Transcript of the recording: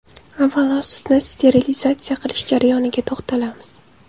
Avvalo, sutni sterilizatsiya qilish jarayoniga to‘xtalamiz.